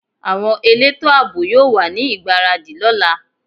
Àwọn elétò àbò yóò wà ní ìgbáradì lọ́la